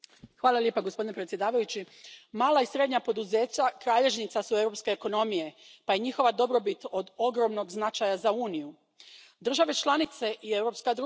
Poštovani predsjedavajući, mala i srednja poduzeća kralježnica su europske ekonomije pa je njihova dobrobit od ogromnog značaja za Uniju, države članice i europska društva.